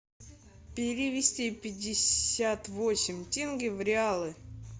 перевести пятьдесят восемь тенге в реалы